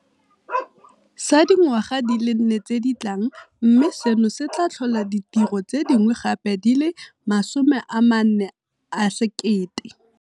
sa dingwaga di le nne tse di tlang, mme seno se tla tlhola ditiro tse dingwe gape di le 4 000.